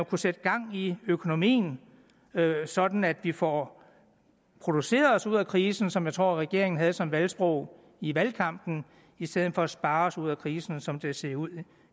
kunne sætte gang i økonomien sådan at vi får produceret os ud af krisen som jeg tror at regeringen havde som valgsprog i valgkampen i stedet for at spare os ud af krisen sådan som det ser ud